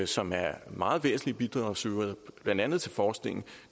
som er meget væsentlige bidragsydere blandt andet til forskningen